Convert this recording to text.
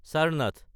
Charnath